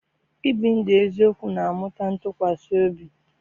Ibi ndụ eziokwu na-amụta ntụkwasị obi.